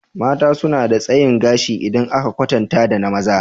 Mata suna da tsayin gashi idan aka kwatanta da maza